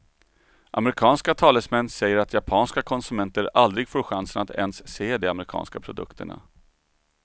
Amerikanska talesmän säger att japanska konsumenter aldrig får chansen att ens se de amerikanska produkterna.